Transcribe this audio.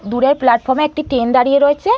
দূরের প্লাটফর্মে একটি ট্রেন দাঁড়িয়ে রয়েছে ।